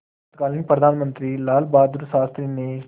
तत्कालीन प्रधानमंत्री लालबहादुर शास्त्री ने